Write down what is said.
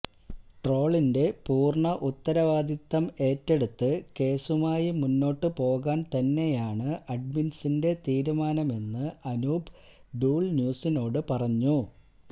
ട്രോളിന്റെ പൂര്ണ്ണ ഉത്തരവാദിത്വം ഏറ്റെടുത്ത് കേസുമായി മുന്നോട്ട് പോകാന് തന്നെയാണ് അഡ്മിന്സിന്റെ തീരുമാനമെന്ന് അനൂപ് ഡൂള് ന്യൂസിനോട് പറഞ്ഞു